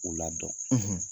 O la dɔn